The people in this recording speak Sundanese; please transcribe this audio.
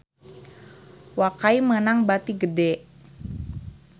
Wakai meunang bati gede